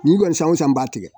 Nin kɔni san o san b'a tigɛ